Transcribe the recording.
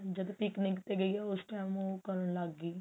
ਜਦ picnic ਤੇ ਗਈ ਉਸ time ਉਹ ਕਰਨ ਲੱਗ ਗਈ